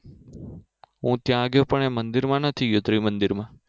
હું ત્યાં ગયો પણ એ મંદિરમાં નથી ગયો ત્રિમંદિરમાં